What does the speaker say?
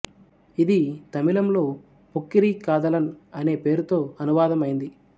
ఇది తమిళంలో పోక్కిరి కాదలన్ అనే పేరుతో అనువాదం అయింది